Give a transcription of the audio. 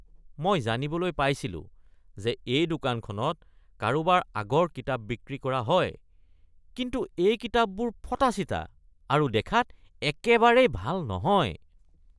মই জানিবলৈ পাইছিলোঁ যে এই দোকানখনত কাৰোবাৰ আগৰ কিতাপ বিক্ৰী কৰা হয় কিন্তু এই কিতাপবোৰ ফটা-চিটা আৰু দেখাত একেবাৰেই ভাল নহয়।